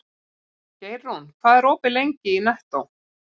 Geirrún, hvað er opið lengi í Nettó?